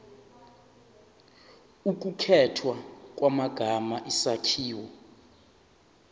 ukukhethwa kwamagama isakhiwo